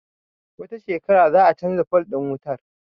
Wata shekarar za a canza fol ɗin wutar